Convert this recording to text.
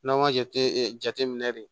N'an ka jate ee jate minɛ de